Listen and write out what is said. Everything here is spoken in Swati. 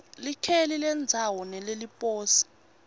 likheli lendzawo neleliposi